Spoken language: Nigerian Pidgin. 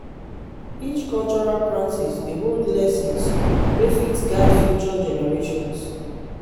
each cultural practice dey hold lessons wey fit guide future generations.